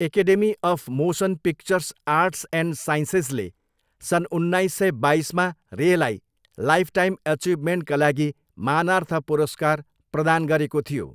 Academy of motion picture arts and साइन्सेजले सन् उन्नाइस सय बाइसमा रेलाई लाइफटाइम अचिभमेन्टका लागि मानार्थ पुरस्कार प्रदान गरेको थियो।